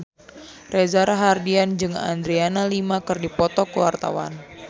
Reza Rahardian jeung Adriana Lima keur dipoto ku wartawan